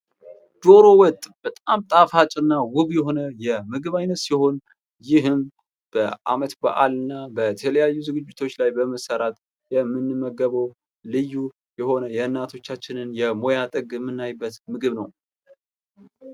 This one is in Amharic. ዶሮ ወጥ በጣም ጣፋጭ እና ውብ የሆነ የምግብ አይነት ሲሆን ፤ ይህም በአመት በአልና በተለያዩ ዝግጅት ላይ በመሠራት የምንመገበው ልዩ የሆነ የእናቶቻችንን የሙያ ጥግ የምናይበት የምግብ አይነት ነው።